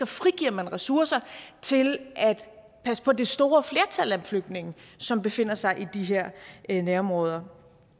frigiver ressourcer til at passe på det store flertal af flygtninge som befinder sig i de her nærområder